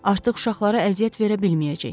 Artıq uşaqlara əziyyət verə bilməyəcək.